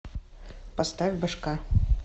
поставь бошка